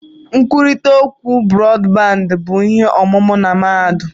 Nkwurịta okwu Brọdbandị bụ ihe ọmụmụ na mahadum.